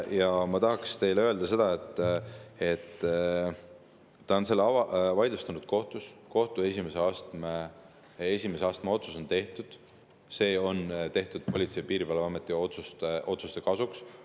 Ja ma tahaksin teile öelda seda, et ta on selle vaidlustanud kohtus, kohtu esimese astme otsus on tehtud, see on tehtud Politsei- ja Piirivalveameti otsuste kasuks.